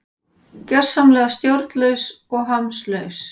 Gjörsamlega stjórnlaus og hamslaus